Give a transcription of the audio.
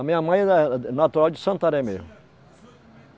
A minha mãe era natural de Santarém mesmo.